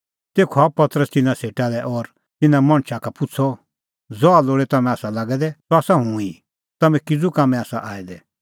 तेखअ आअ पतरस तिन्नां सेटा लै और तिन्नां मणछा का पुछ़अ ज़हा लोल़ै तम्हैं आसा लागै दै सह आसा हुंह ई तम्हैं किज़ू कामैं आसा आऐ दै